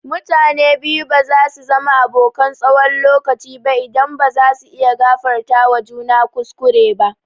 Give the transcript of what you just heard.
Mutane biyu ba zasu zama abokan tsawon lokaci ba idan ba zasu iya gafartawa juna kuskure ba.